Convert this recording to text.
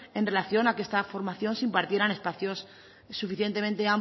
en relación a que esta formación se impartiera en espacios suficientemente